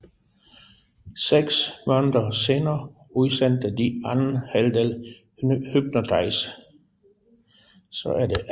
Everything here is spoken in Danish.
Seks måneder senere udsendte de anden halvdel Hypnotize